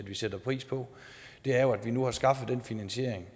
sætter pris på er jo at vi nu har skaffet den finansiering